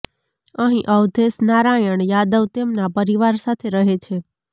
અહીં અવધેશ નારાયણ યાદવ તેમના પરિવાર સાથે રહે છે